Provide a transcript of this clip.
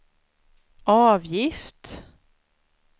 avgift